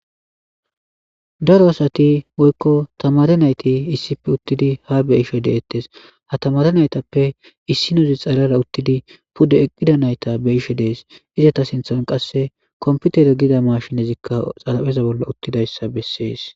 Daro asati woyiko tamare nayiti issippe utidi ha be,ishe de,etes ha tamare nayithappe isinoza xalala utidi pude eqida nayita be,ashe dayis izata sinthan qasika kompitere giza mashinezika xarapheza bolla utidayisa besees